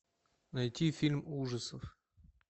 найти фильм ужасов